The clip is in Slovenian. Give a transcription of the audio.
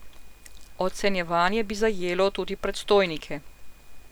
Ocenjevanje bi zajelo tudi predstojnike.